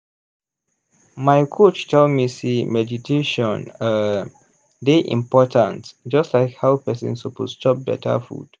my coach tell me sey meditation um dey important just like how person suppose chop beta food.